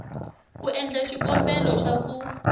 ku endla xikombelo xa ku